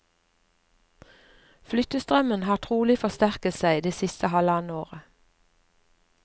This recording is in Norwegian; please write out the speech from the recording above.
Flyttestrømmen har trolig forsterket seg det siste halvannet året.